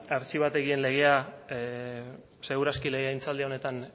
artxibategien legea ziur aski legegintzaldi honetan